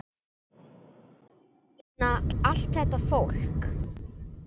Ég meina, allt þetta fólk!